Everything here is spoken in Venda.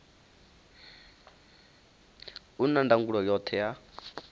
u na ndangulo yoṱhe ya